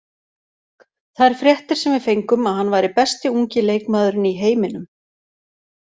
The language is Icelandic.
Þær fréttir sem við fengum að hann væri besti ungi leikmaðurinn í heiminum.